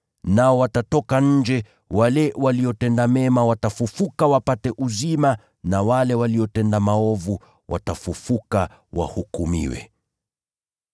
Nao watatoka nje, wale waliotenda mema watafufuka wapate uzima na wale waliotenda maovu, watafufuka wahukumiwe.